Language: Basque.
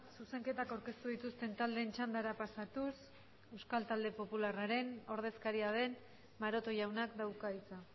zuzenketak aurkeztu dituzten taldeen txandara pasatuz euskal talde popularraren ordezkaria den maroto jaunak dauka hitza